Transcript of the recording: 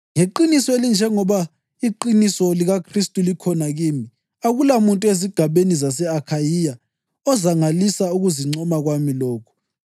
Ngeqiniso elinjengoba iqiniso likaKhristu likhona kimi, akulamuntu ezigabeni zase-Akhayiya ozangalisa ukuzincoma kwami lokhu.